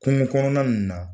Kungo kɔnɔna ninnu na.